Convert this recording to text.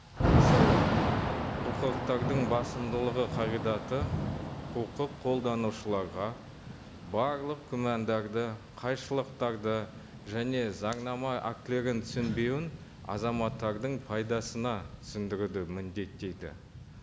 мысалы құқықтардың басымдылығы қағидаты құқық қолданушыларға барлық күмәндарды қайшылықтарды және заңнама актілерін түсінбеуін азаматтардың пайдасына түсіндіруді міндеттейді